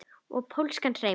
Og pólskan hreim.